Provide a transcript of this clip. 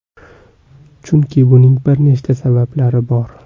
Chunki buning bir nechta sabablari bor.